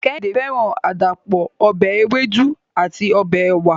Kehinde feran adapo ọbẹ ewedu ati ọbẹ ewa